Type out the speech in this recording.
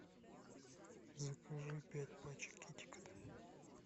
закажи пять пачек китекета